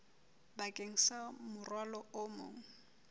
bakeng sa morwalo o mong